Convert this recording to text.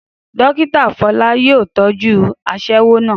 Dókítà Fọlá yóò tọ́jú aṣẹ́wó náà